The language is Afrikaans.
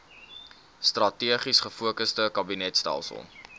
strategies gefokusde kabinetstelsel